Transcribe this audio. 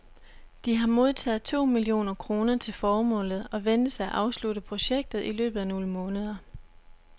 De har modtaget to millioner kroner til formålet og ventes at afslutte projektet i løbet af nogle måneder.